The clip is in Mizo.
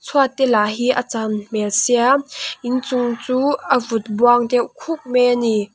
chhuat te lah hi a chan hmel sia inching chu a vut buang deuh khuk mai a ni.